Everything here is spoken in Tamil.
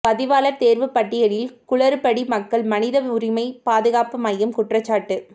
பதிவாளா் தோ்வுப் பட்டியலில் குளறுபடி மக்கள் மனித உரிமை பாதுகாப்பு மையம் குற்றச்சாட்டு